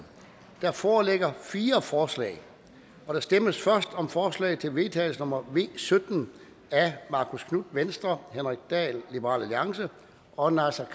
der foreligger fire forslag der stemmes først om forslag til vedtagelse nummer v sytten af marcus knuth henrik dahl og naser